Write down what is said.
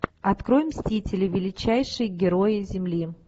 открой мстители величайшие герои земли